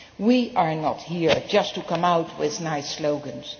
We are not here just to come out with nice slogans.